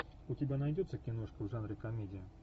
у тебя найдется киношка в жанре комедия